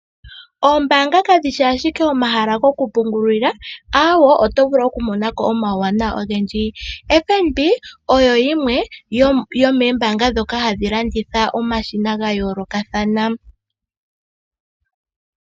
Oombanga kadhi ashike omahala go kupungulila, aawo, oto vulu okumona ko omawuwanawa ogendji. FNB oyo yimwe yo mombanga dhoka hadhi landitha omashina gayoloka kathana.